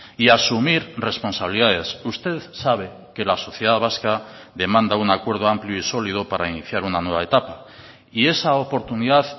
y asumir responsabilidades usted sabe que la sociedad vasca demanda un acuerdo amplio y sólido para iniciar una nueva etapa y esa oportunidad